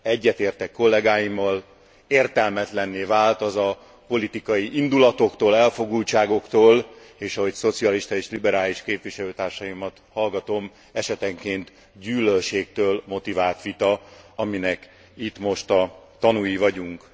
Egyetértek kollégáimmal értelmetlenné vált az a politikai indulatoktól, elfogultságoktól és ahogy szocialista és liberális képviselőtársaimat hallgatom esetenként gyűlölségtől motivált vita, aminek itt most a tanúi vagyunk.